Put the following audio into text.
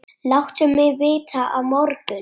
Láttu mig vita á morgun.